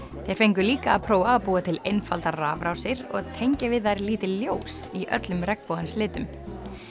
þeir fengu líka að prófa að búa til einfaldar rafrásir og tengja við þær lítil ljós í öllum regnbogans litum